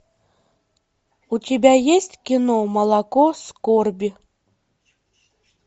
у тебя есть кино молоко скорби